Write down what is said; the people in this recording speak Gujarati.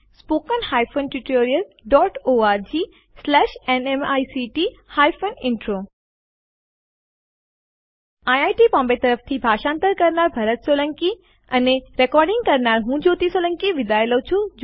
spoken hyphen tutorial dot ORG slash NMEICT hyphen intro IIT Bombay તરફથી ભાષાંતર કરનાર હું ભરત સોલંકી વિદાય લઉં છું